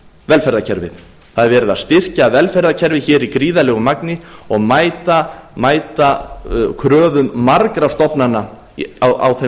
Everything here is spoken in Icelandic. velferðarkerfið það er verið að styrkja velferðarkerfið hér í gríðarlegu magni og mæta kröfum margra stofnana á þeim